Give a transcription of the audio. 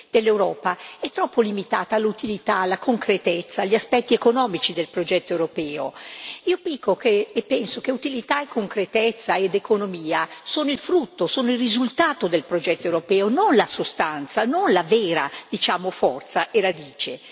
dell'Europa sia troppo limitata all'utilità, alla concretezza, agli aspetti economici del progetto europeo. Io dico e penso che utilità, concretezza ed economia sono il frutto, il risultato del progetto europeo, non la sostanza, non la vera forza e radice.